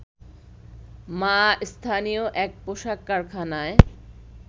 মা স্থানীয় এক পোশাক কারখানায়